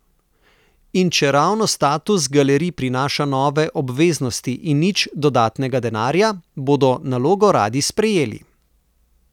In čeravno status galeriji prinaša nove obveznosti in nič dodatnega denarja, bodo nalogo radi sprejeli.